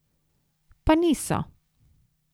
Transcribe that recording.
Pa niso.